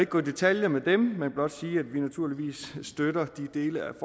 gå i detaljer med dem men blot sige at vi naturligvis støtter de dele